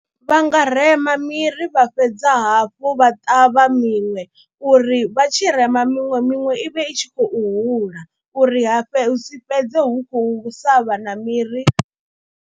Vha nga rema miri vha fhedza hafhu vha ṱavha miṅwe uri vha tshirema miṅwe, miṅwe i vhe i tshi khou hula uri ha si fhedze hu khou sa vhana miri.